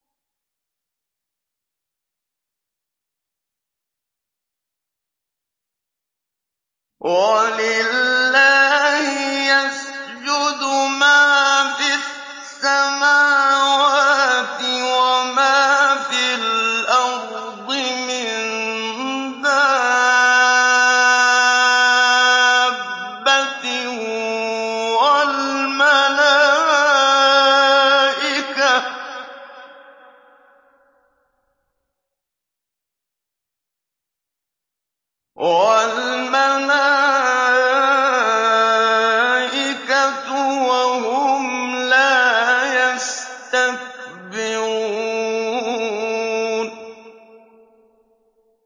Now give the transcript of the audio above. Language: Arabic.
وَلِلَّهِ يَسْجُدُ مَا فِي السَّمَاوَاتِ وَمَا فِي الْأَرْضِ مِن دَابَّةٍ وَالْمَلَائِكَةُ وَهُمْ لَا يَسْتَكْبِرُونَ